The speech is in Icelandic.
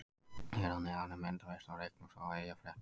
Hér að neðan er myndaveisla úr leiknum frá Eyjafréttum.